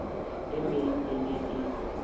e meng e ne e